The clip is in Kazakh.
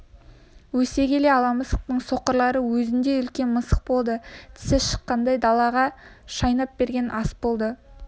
өсе келе ала мысықтың соқырлары өзіндей үлкен мысық болды тісі шыққан балаға шайнап берген ас бола